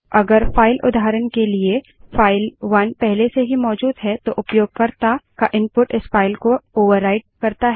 अगर फाइल उदाहरण के लिए फाइल 1 पहले से ही मौजूद है तो उपयोगकर्ता का इनपुट इस फाइल पर ओवरराइट होता है